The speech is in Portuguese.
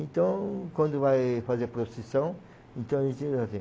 Então, quando vai fazer procissão, então